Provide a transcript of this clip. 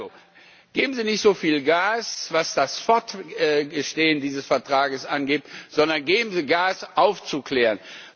Also geben Sie nicht so viel Gas, was das Fortbestehen dieses Vertrages angeht, sondern geben Sie Gas, um aufzuklären.